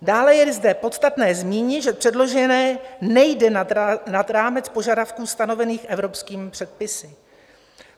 Dále je zde podstatné zmínit, že předložené nejde nad rámec požadavků stanovených evropskými předpisy.